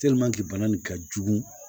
bana nin ka jugu